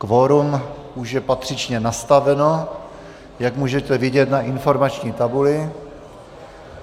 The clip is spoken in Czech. Kvorum už je patřičně nastaveno, jak můžete vidět na informační tabuli.